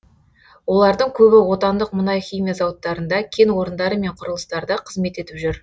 олардың көбі отандық мұнай химия зауыттарында кен орындары мен құрылыстарда қызмет етіп жүр